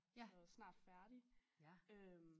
Så snart færdig øh